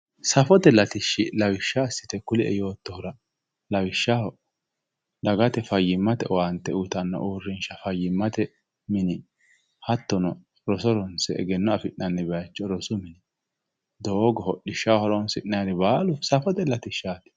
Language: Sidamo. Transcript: safote latishshi lawishsha assite kulie yoottohura lawishshaho dagate fayyimmate owaante uyiitanno uurrinsha fayyimmate mine hattono roso ronse egenno afi'nanni bayiicho rosu mine doogo hodhishshaho horoonsi'nayiiri baalu safote latishshaati